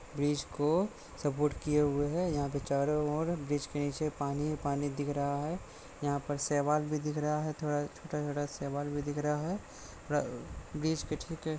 bridge को support किये हुई है यहां पे चारो और ब्रिज के निचे पानी पानी दिख रहा है यहाँ पे सेवाल भी दिख रहा है थोड़ा छोटा छोटा सेवाल भी दिख रहा है थोड़ा ब्रिज के ठेके --